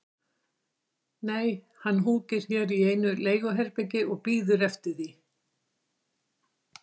Nei, hann húkir hér í einu leiguherbergi og bíður eftir því að